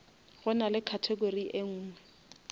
go na le category enngwe